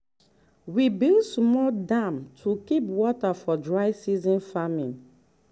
we build small dam to keep water for dry season farming.